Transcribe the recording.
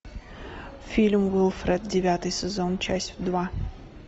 фильм уилфред девятый сезон часть два